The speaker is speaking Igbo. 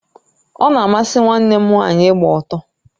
Ona amasị nwanne m nwaanyị ịgba ọtọ